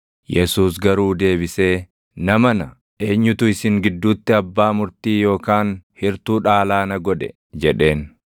Yesuus garuu deebisee, “Namana, eenyutu isin gidduutti abbaa murtii yookaan hirtuu dhaalaa na godhe?” jedheen.